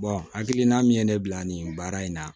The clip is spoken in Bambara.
hakilina min ye ne bila nin baara in na